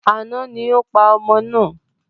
Àná ni o pa ọmọ náà.